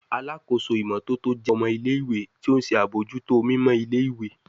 Alakoso imototo jẹ ọmọ ile-iwe ti o nṣe abojuto enviro mimọ ile-iwe